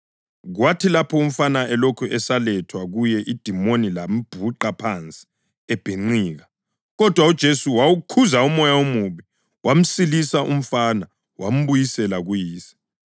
Kwathi lapho umfana elokhu esalethwa kuye idimoni lambhuqa phansi ebhinqika. Kodwa uJesu wawukhuza umoya omubi, wamsilisa umfana wambuyisela kuyise.